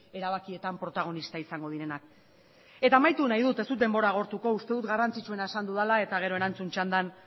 erabakietan protagonistak izango direnak eta amaituko dut ez dut denbora agortuko uste dut garrantzitsuena esan dudala eta gero erantzun txandan